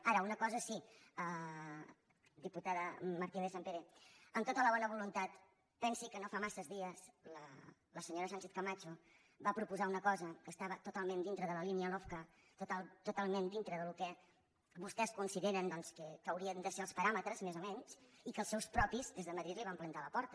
ara una cosa sí diputada martínez sampere amb tota la bona voluntat pensi que no fa massa dies la senyora sánchez camacho va proposar una cosa que estava totalment dintre de la línia lofca totalment dintre del que vostès consideren doncs que n’haurien de ser els paràmetres més o menys i que els seus propis des de madrid li van plantar a la porta